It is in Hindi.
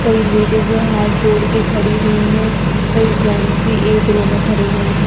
कई लेडीजें हाथ जोड़के खड़ी हुई है कई जेंट्स भी एक रो में खड़े हुए हैं।